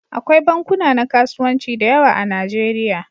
Akwai bankuna na kasuwanci da yawa a Nijeriya.